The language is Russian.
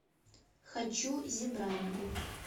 хочу зебрамен